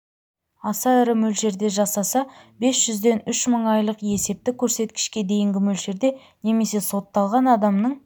аса ірі мөлшерде жасаса бес жүзден үш мың айлық есептік көрсеткішке дейінгі мөлшерде немесе сотталған адамның